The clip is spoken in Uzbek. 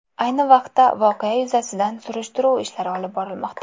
Ayni vaqtda voqea yuzasidan surishtiruv ishlari olib borilmoqda.